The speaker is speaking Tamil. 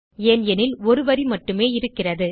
ஏனெனில் ஒரு வரி மட்டுமே இருக்கிறது